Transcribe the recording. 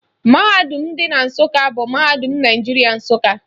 Mahadum dị na Nsụka bụ Mahadum Naijiria, Nsụka